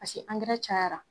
Paseke ankɛra cayara.